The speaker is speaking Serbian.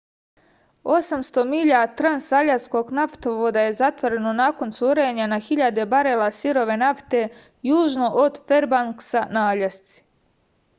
osamsto milja transaljaskog naftovoda je zatvoreno nakon curenja na hiljade barela sirove nafte južno od ferbanksa na aljasci